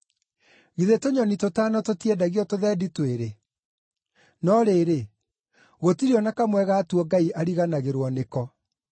Githĩ tũnyoni tũtano tũtiendagio tũthendi twĩrĩ? No rĩrĩ, gũtirĩ o na kamwe gatuo Ngai ariganagĩrwo nĩko.